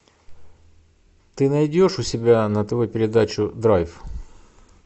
ты найдешь у себя на тв передачу драйв